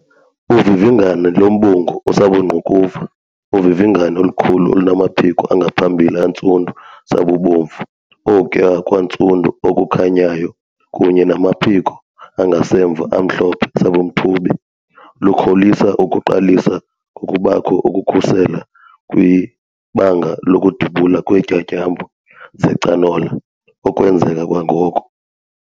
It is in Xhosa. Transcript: Uvivingane lombungu osabungqukuva uvivingane olukhulu olunamaphiko angaphambili antsundu sabubomvu ukuya kwantsundu okukhanyayo kunye namaphiko angasemva amhlophe sabumthubi lukholisa ukuqalisa ngokubakho ukususela kwibanga lokudubula kweentyatyambo zecanola okwenzeka kwangoko.